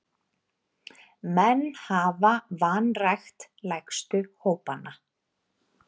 Menn hafa vanrækt lægstu hópana.